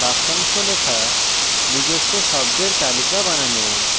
বাক্যাংশ লেখা